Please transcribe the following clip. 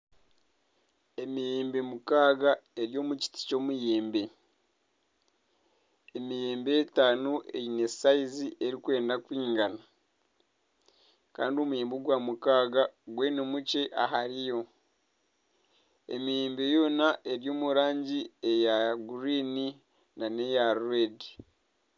Emiyembe mukaaga eri omu kiti ky'emiyembe, emiyembe etaano eine sayizi erikwenda kwingana kandi omuyembe ogwa mukaaga gwe ni mukye ahari yo, emiyembe yoona eri omu rangi eya guriini n'eya reedi